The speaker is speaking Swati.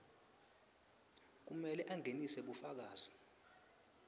kumele angenise bufakazi